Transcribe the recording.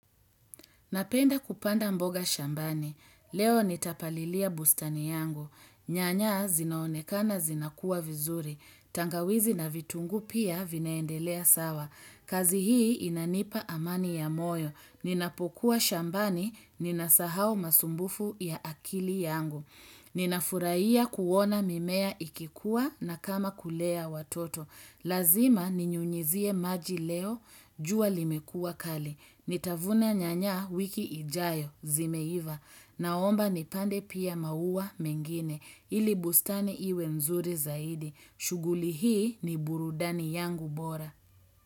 Napenda kupanda mboga shambani. Leo nitapalilia bustani yangu. Nyanya zinaonekana zinakua vizuri. Tangawizi na vitungu pia vinaendelea sawa. Kazi hii inanipa amani ya moyo. Ninapokuwa shambani ninasahau masumbufu ya akili yangu. Ninafuraia kuona mimea ikikua na kama kulea watoto. Lazima ninyunyizie maji leo, jua limekua kali. Nitavuna nyanya wiki ijayo zimeiva. Naomba nipande pia maua mengine. Ili bustani iwe mzuri zaidi. Shuguli hii ni burudani yangu bora.